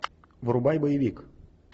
врубай боевик